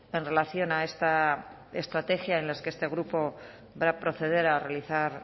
en relación a esta estrategia en las que este grupo va a proceder a realizar